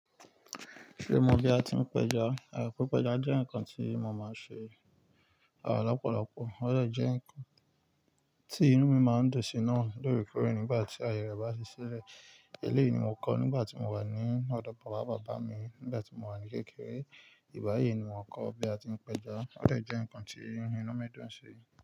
Ṣomo bí a ti ń pẹja? À pipẹja jẹ́ ǹkan tí mo máa ń ṣe à lọ́pọ̀lọpọ̀, ó lè jẹ́ ǹkan tí inú mi máa ń dùn sí náà lóorekóre nígbà tí ayẹ rẹ bá ṣi sílẹ̀. Èléyìí ni mo kọ́ nígbà tí mo wà ní ọ̀dọ̀ bàbá bàbá mi, nígbà tí mo wà ní kékeré. Ìgbá yii ni mo kọ́ bí a ti ń pẹja, ó dè jẹ́ ǹkan tí inú mi dùn ń ṣi.